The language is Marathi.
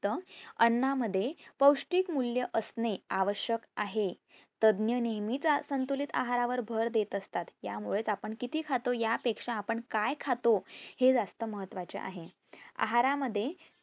अन्ना मध्ये पौष्टिक मूल्य असणे आवश्यक आहे. तज्ज्ञ नेहेमीच संतुलित आहारावर भर देत असतात, ह्यामुळे आपण किती खातो ह्या पेक्षा आपण काय खातो हे जास्त महत्वाचे आहे. आहारा मधे